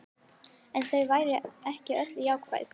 En þau væru ekki öll jákvæð